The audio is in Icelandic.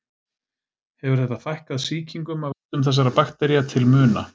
Hefur þetta fækkað sýkingum af völdum þessara baktería til muna.